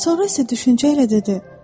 Sonra isə düşüncə ilə dedi: